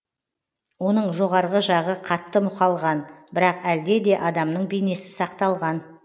оның жоғарғы жағы қатты мұқалған бірақ әлде де адамның бейнесі сақталған